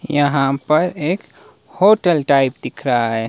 यहां पर एक होटल टाइप दिख रहा है।